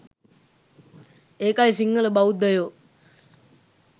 ඒකයි සිංහල බෞද්ධයෝ